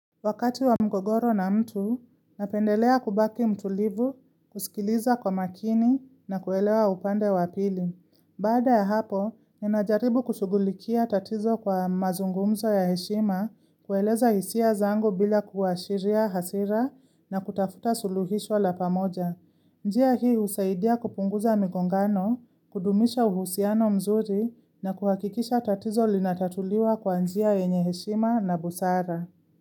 Wakati wa mgogoro na mtu, napendelea kubaki mtulivu, kusikiliza kwa makini na kuelewa upande wa pili. Baada ya hapo, ninajaribu kushughulikia tatizo kwa mazungumzo ya heshima, kueleza hisia zangu bila kuashiria hasira na kutafuta suluhisho la pamoja. Njia hii husaidia kupunguza migongano, kudumisha uhusiano mzuri na kuhakikisha tatizo linatatuliwa kwa njia yenye heshima na busara.